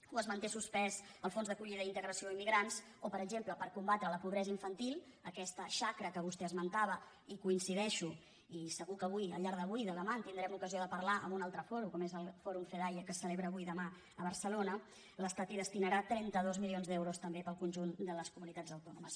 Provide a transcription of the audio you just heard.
o es manté suspès el fons d’acollida i in·tegració a immigrants o per exemple per combatre la pobresa infantil aquesta xacra que vostè esmentava que hi coincideixo i segur que avui al llarg d’avui i de demà en tindrem ocasió de parlar en un altre fòrum que és el fòrum fedaia que es celebra avui i demà a barcelona l’estat hi destinarà trenta dos milions d’euros també per al conjunt de les comunitats autònomes